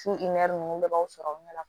Su n'i kun bɛɛ b'aw sɔrɔ o ɲɛ la